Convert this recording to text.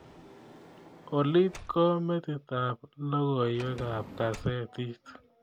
Ollit ko metitab logoywekab kasetit